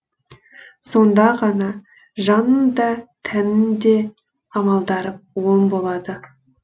сонда ғана жанның да тәннің де амалдары оң болады